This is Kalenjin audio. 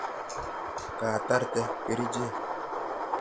Ketarte kerichek?